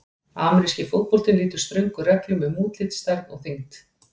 Ameríski fótboltinn lýtur ströngum reglum um útlit, stærð og þyngd.